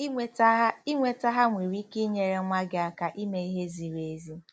Inweta ha Inweta ha nwere ike inyere nwa gị aka ime ihe ziri ezi.